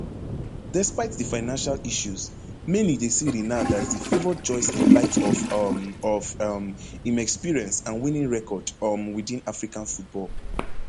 despite di financial issues many dey see renard as di favoured choice in light of um of um im experience and winning record um witin african football